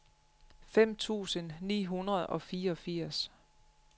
fem tusind ni hundrede og fireogfirs